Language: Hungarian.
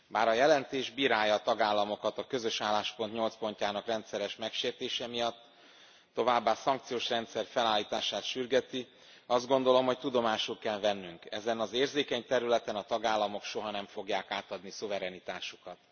Bár a jelentés bírálja a tagállamokat a közös álláspont 8 pontjának rendszeres megsértése miatt, továbbá szankciós rendszer felállítását sürgeti, azt gondolom, hogy tudomásul kell vennünk ezen az érzékeny területen a tagállamok soha nem fogják átadni szuverenitásukat.